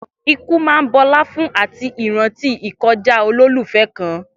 Ikú máa ń bọlá fún àti ìrántí ìkọjá olólùfẹ́ kan.